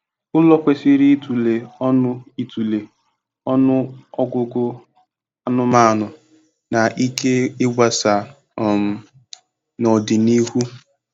Ụlọ kwesịrị ịtụle ọnụ ịtụle ọnụ ọgụgụ anụmanụ na ike ịgbasa um n'ọdịnihu.